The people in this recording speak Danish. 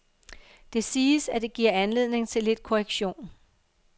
Det siges, at det giver anledning til lidt korrektion.